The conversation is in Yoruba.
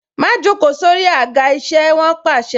Má joko sórí àga isẹ! Wọn pàṣẹ.